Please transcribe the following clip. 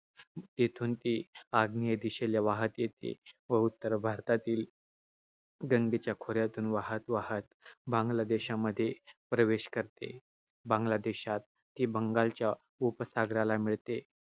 तेथून ती आग्नेय दिशेला वाहत येते व उत्तर भारतातील गंगेच्या खोऱ्यातून वाहत वाहत बांगलादेशात प्रवेश करते. बांगलादेशात ती बंगालच्या उपसागराला मिळते.